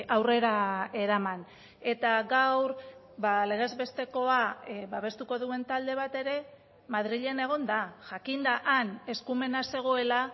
aurrera eraman eta gaur legez bestekoa babestuko duen talde bat ere madrilen egon da jakinda han eskumena zegoela